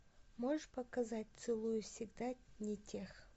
можешь показать целую всегда не тех